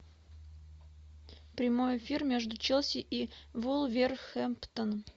прямой эфир между челси и вулверхэмптон